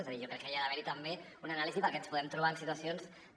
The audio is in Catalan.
és a dir jo crec que hi ha d’haver també una anàlisi perquè ens podem trobar amb situacions que